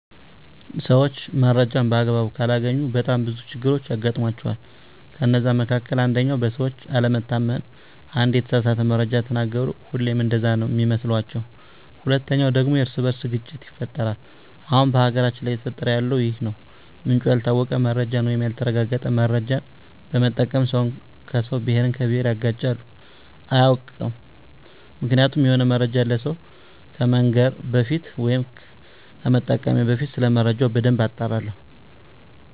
ሰዎች መረጃን በአግባቡ ካላገኙ በጣም ብዙ ችግሮች ያጋጥሟቸዋል ከነዛ መካከል አንደኛው በሰዎች አለመታመን አንዴ የተሳሳተ መረጃ ከተናገሩ ሁሌም እንደዛ ነው ሚመስሏቸዉ። ሁለተኛው ደግሞ የእርስ በእርስ ግጭት ይፈጠራል አሁን በሀገራችን ላይ እየተፈጠረ ያለው ይህ ነው ምንጩ ያልታወቀ መረጃን ወይም ያልተረጋገጠ መረጃ በመጠቀም ሰውን ከሰው፣ ብሄርን ከብሄር ያጋጫሉ። አያውቅም ምክንያቱም የሆነ መረጃን ለሰው ከመንገሬ በፊት ወይም ከመጠቀሜ በፊት ሰለመረጃው በደንብ አጣራለሁ።